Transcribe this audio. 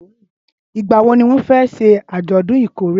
ìgbà wo ni wón fé se àjòdún ìkórè?